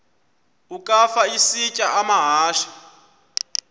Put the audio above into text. ukafa isitya amahashe